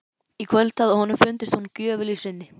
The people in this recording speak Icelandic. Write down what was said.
Í kvöld hafði honum fundist hún gjöful í sinni.